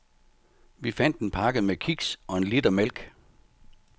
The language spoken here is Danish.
Vi fandt en pakke med kiks og en liter mælk.